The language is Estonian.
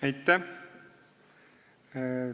Aitäh!